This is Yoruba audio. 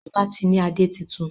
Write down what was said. Ọba tí ní ade títún.